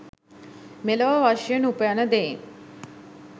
මෙලොව වශයෙන් උපයන දෙයින්